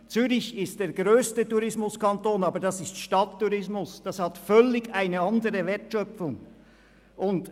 Zürich ist der grösste Tourismuskanton, aber das ist Stadttourismus, der eine völlig andere Wertschöpfung hat.